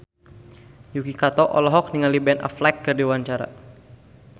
Yuki Kato olohok ningali Ben Affleck keur diwawancara